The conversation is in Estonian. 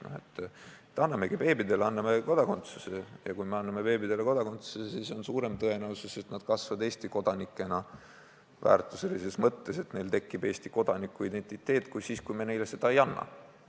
No aga annamegi beebidele kodakondsuse ja kui me anname beebidele kodakondsuse, siis on suurem tõenäosus, et nad kasvavad Eesti kodanikena väärtuselises mõttes ja et neil tekib Eesti kodaniku identiteet, kui siis, kui me neile seda ei anna.